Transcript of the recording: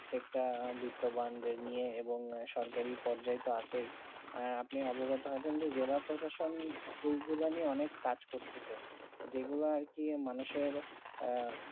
একটা বিতমান নিয়ে এবং সরকারি পৰ্যায়ত আছে আর আপনি অভিগওতো আছে জিলা প্রশাসন অনেক কাজ করতেছে যেগুলো আর কি মানুষের আহ